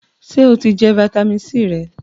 Sè o ti jẹ fitamisi C rẹ?